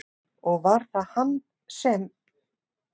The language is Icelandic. Og var það hann sem?